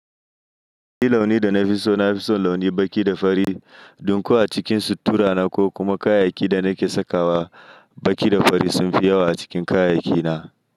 Ni launin da na fi so, na fi son launin baƙi da fari. Don ko a cikin sutura na ko kuma kayayyakin da nake sakawa, baƙi da fari sun fi yawa a cikin kayayyaki na.